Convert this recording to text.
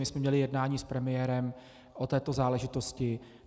My jsme měli jednání s premiérem o této záležitosti.